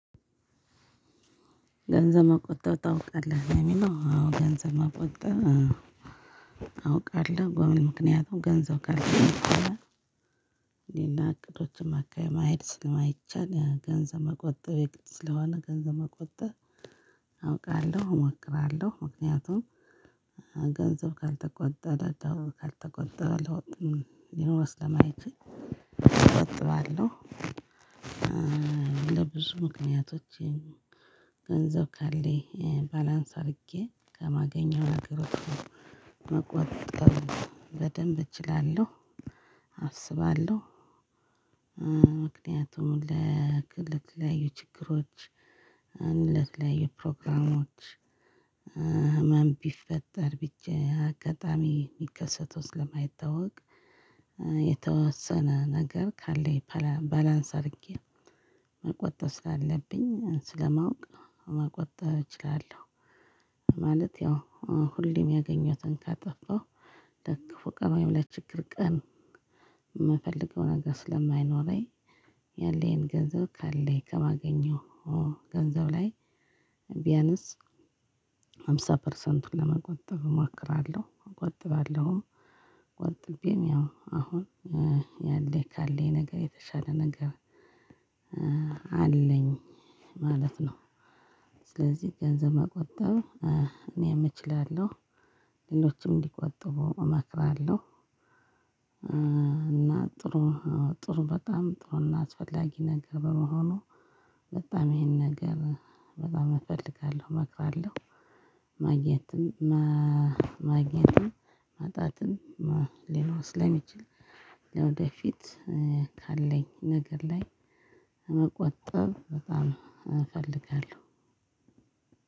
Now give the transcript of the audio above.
ገንዘብ መቆጠብ ታውቃለህ ለሚለው አዎ ገንዘብ መቆጣጠር አውቃለሁ። ለምን ምክንያቱም ገንዘብ ካለኝ እኔና እቅዶችን ማካሄድ ስለማይቻል ገንዘብ መቆጠብ የግድ ስለሆነ ገንዘብ መቆጠብ አውቃለሁ፤ እሞክራለሁ። ምክንያቱም ገንዘብ ካልተቆጠበ ለውጥ ሊኖር ስለማይችል እቆጥባለሁ እንደ ብዙ ምክንያቶች ገንዘብ ካለኝ ባላንስ አድርጌ ከማገኘው ነገሮች መቆጣጠር በደንብ እችላለሁ፤ አስባለሁ። ምክንያቱም ለተለያዩ ችግሮች ለተለያዩ ፕሮግራሞች ምንም ቢፈጠር ብቻ አጋጣሚ የሚከሰተው ስለማይታወቅ የተወሰነ ነገር ካለኝ ባላንስ አድርጌ መቆጠብ ስላለብኝ ስለማውቅ መቆጠብ እችላለሁ ማለት ያው ሁሌም ያገኘሁትን ካጠፋሁ ለክፉ ቀን ወይም ለችግር ቀን የምፈልገው ነገር ስለማይኖረኝ ያለኝን ገንዘብ ካለኝ ከማገኘው ገንዘብ ላይ ቢያንስ ሃምሳ ፐርሰንቱን ለመቆጠብ እሞክራለሁ፤ እቆጥባለሁም። ቆጥቤም ያው አሁን ያለኝ ካለኝ ነገር የተሻለ ነገር አለኝ ማለት ነው። ስለዚህ ገንዘብ መቆጠብ እኔም እችላለሁ። ሌሎችም እንዲቆጥቡ እመክራለሁ። እና ጥሩ ጥሩ በጣም ጥሩና አስፈላጊ ነገር በመሆኑ በጣም ይሄን ነገር በጣም እፈልጋለሁ፤ እመክራለሁ። ማግኘትም ማጣትም ሊኖር ስለሚችል ለወደፊት ካለኝ ነገር ላይ መቆጠብ በጣም እፈልጋለሁ።